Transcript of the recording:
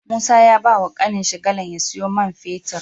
Musa ya bawa kanin shi galan ya siyo mai fetir